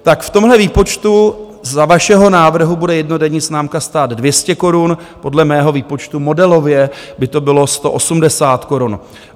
Tak v tomhle výpočtu za vašeho návrhu bude jednodenní známka stát 200 korun, podle mého výpočtu modelově by to bylo 180 korun.